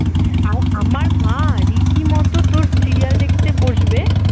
আমার মা রীতিমতো তোর serial দেখতে বসবে